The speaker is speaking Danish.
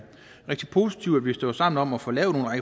rigtig positivt at vi står sammen om at få lavet